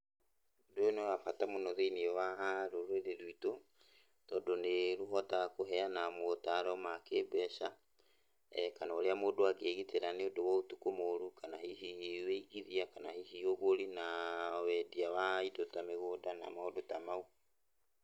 Ũndũ ũyũ nĩ wa bata mũno thĩiniĩ waa rũrĩrĩ rwitũ, tondũ nĩrũhotaga kũheana motaro ma kĩmbeca, kana ũrĩa mũndũ angĩgitĩra nĩũndũ wa ũtukũ mũru, kana hihi wĩigithia, kana hihi ũgũri naa wendia waa indo ta mĩgũnda na maũndũ ta mau.